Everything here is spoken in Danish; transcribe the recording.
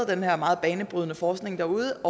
den her meget banebrydende forskning derude